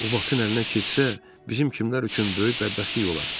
O vaxtın əlinə keçsə, bizim kimlər üçün böyük bədbəxtlik olar.